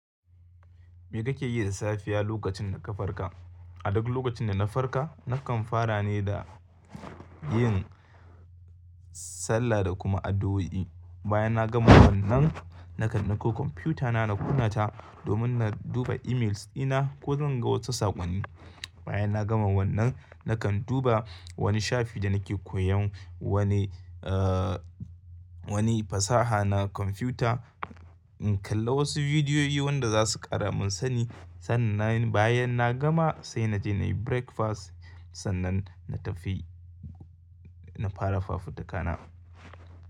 Me kake yi da safiya lokacin da ka farka? A duk lokacin da na farka nakan fara ne da yin sallah da kuma addu'o'i. Bayan na gama wannan, nakan dakko kwamfutana na kuna ta domin na duba emails ina ko zan ga wasu saƙonni. Bayan na gama wannan, nakan duba wani shafi da nake koyon wani, aa wani fasaha na kwamfuta in kalla wasu bidiyoyi wanda za su ƙara mun sani. Sannan bayan na gama sai naje nayi breakfast. Sannan na tafi na fara faffutuka na.